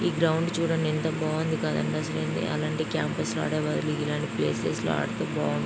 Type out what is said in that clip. ఈ గ్రౌండ్ చూడండి ఎంత బాగుంది కదండీ. అసలైంది అలాంటి క్యాంపస్ లో ఆడే బదులు ఇలాంటి ప్లేసెస్ లో ఆడితే బావుంటుం --